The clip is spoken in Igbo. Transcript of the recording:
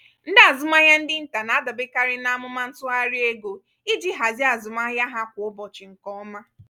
ndị azụmahịa ndị nta na-adaberekarị n'amụma ntụgharị ego iji hazie azụmahịa ha kwa ụbọchị nke ọma.